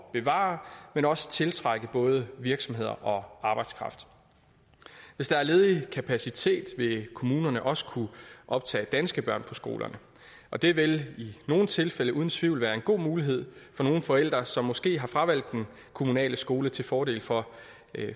at bevare men også tiltrække både virksomheder og arbejdskraft hvis der er ledig kapacitet vil kommunerne også kunne optage danske børn på skolerne og det vil i nogle tilfælde uden tvivl være en god mulighed for nogle forældre som måske har fravalgt den kommunale skole til fordel for